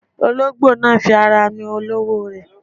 Olóńgbò náà fi ara nu olówó rẹ̀.